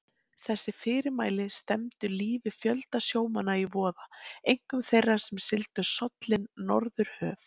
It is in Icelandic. Þessi fyrirmæli stefndu lífi fjölda sjómanna í voða, einkum þeirra, sem sigldu sollin norðurhöf.